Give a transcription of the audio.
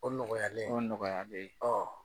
O nɔgɔyalen o nɔgɔyalen